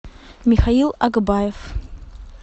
михаил акбаев